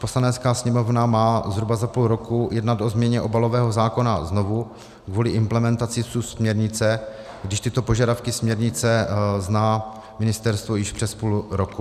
Poslanecká sněmovna má zhruba za půl roku jednat o změně obalového zákona znovu kvůli implementaci subsměrnice, když tyto požadavky směrnice zná ministerstvo již přes půl roku.